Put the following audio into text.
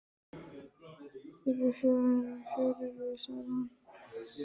Þeir eru henni fjári erfiðir, segir hún.